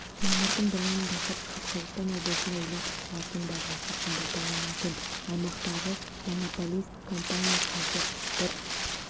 мамырдың бірінен бастап шығыс қазақстан облысында электр қуатының бағасы қымбаттауы мүмкін аймақтағы монополист компания қазір бір